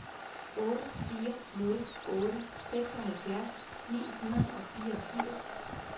otte fire nul otte seksoghalvfjerds ni hundrede og fireogfirs